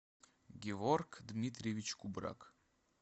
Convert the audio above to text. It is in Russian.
геворг дмитриевич кубрак